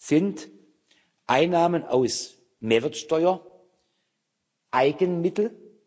Sind Einnahmen aus Mehrwertsteuer Eigenmittel?